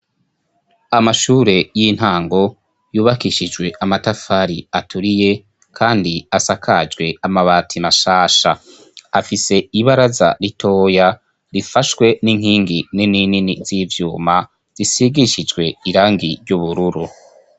Amashure yintango yubakishijwe amatafari aturiye kandi asakajwe amabati mashasha, afise ibaraza ritoya rifashwe ninkingi nini nini zivyuma zisigishijwe irangi ryubururu.